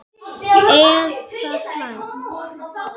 Er það slæmt?